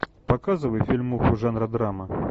показывай фильмуху жанра драма